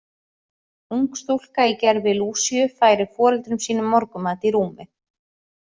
Ung stúlka í gervi Lúsíu færir foreldrum sínum morgunmat í rúmið.